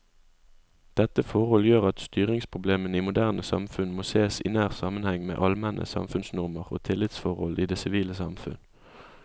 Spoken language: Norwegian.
Dette forhold gjør at styringsproblemene i moderne samfunn må sees i nær sammenheng med allmenne samfunnsnormer og tillitsforhold i det sivile samfunn.